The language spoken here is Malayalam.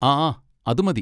ആ ആ, അതുമതി.